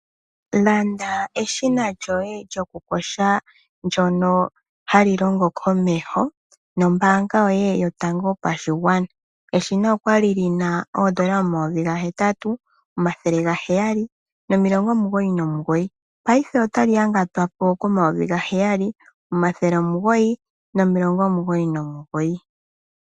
Landa eshina lyoye lyokuyonga ndyoka hali longo komeho nombaanga yoye yotango yopashingwana, eshina olyali lyina N$8 799 payife otali ya gatwapo ko N$7 999.